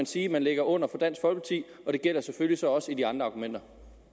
sige at man ligger under for dansk folkeparti og det gælder selvfølgelig så også for de andre argumenter